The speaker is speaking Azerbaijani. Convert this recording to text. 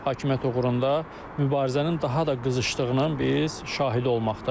Hakimiyyət uğrunda mübarizənin daha da qızışdığının biz şahidi olmaqdayıq.